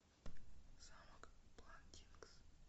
замок бландингс